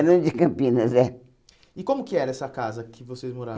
Barão de Campinas, é. E como que era essa casa que vocês moravam?